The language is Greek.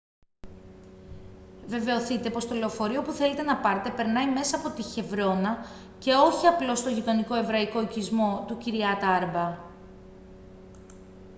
βεβαιωθείτε πως το λεωφορείο που θέλετε να πάρετε περνάει μέσα από τη χεβρώνα και όχι απλώς στον γειτονικό εβραϊκό οικισμό του kiryat arba